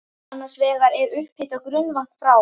Annars vegar er upphitað grunnvatn frá